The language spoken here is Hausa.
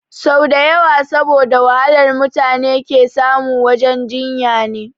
Sau dawa saboda wahalar mutune ke samu wajen jinya ne